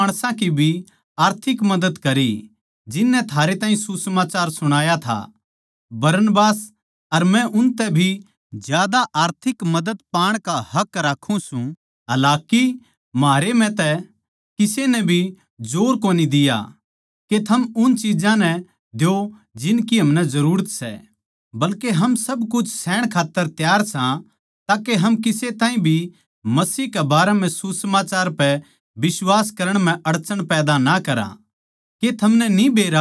थमनै दुसरे माणसां की भी आर्थिक मदद करी जिननै थारे ताहीं सुसमाचार सुणाया था बरनबास अर मै उनतै भी ज्यादा आर्थिक मदद पाण का हक राक्खां सां हालाकि म्हारे म्ह तै किसे नै भी जोर कोनी दिया के थम उन चिज्जां नै द्यो जिनकी हमनै जरूरत सै बल्के हम सब कुछ सहण खात्तर तैयार सां ताके हम किसे ताहीं भी मसीह के बारें म्ह सुसमाचार पै बिश्वास करण म्ह अडचन पैदा ना करा